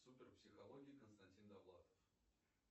супер психология константин довлатов